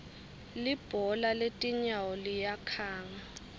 libhola letinyawo liyakhanga